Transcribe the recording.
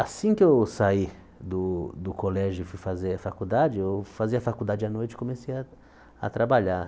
Assim que eu saí do do colégio e fui fazer a faculdade, eu fazia a faculdade à noite e comecei a a trabalhar.